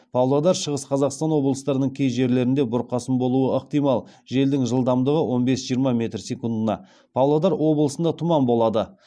павлодар шығыс қазақстан облыстарының кей жерлерінде бұрқасын болуы ықтимал желдің жылдамдығы он бес жиырма метр секундына павлодар облысында тұман болады